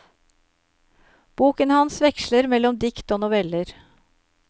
Boken hans veksler mellom dikt og noveller.